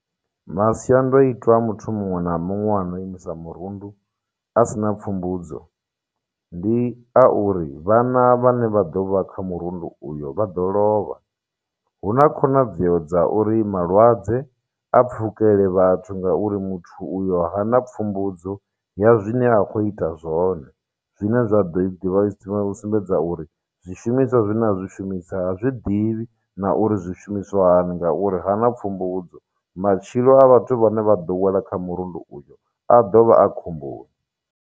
Masiandoitwa a muthu muṅwe na muṅwe ano imisa murundu a si na pfhumbudzo ndi a uri vhana vhane vha ḓo vha kha murundu uyo vha ḓo lovha hu na khonadzeo dza uri malwadze a pfukele vhathu ngauri muthu uyo hana pfumbudzo ya zwine a khou ita zwone zwine zwa ḓo i ḓivha u sumbedza uri zwishumiswa zwine a zwishumisa ha zwiḓivhi na uri zwishumiswa hani ngauri ha na pfumbudzo matshilo a vhathu vhane vha ḓo wela kha murundu uyo a ḓovha a khomboni.